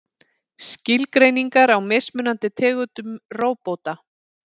Skilgreiningar á mismunandi tegundum róbóta.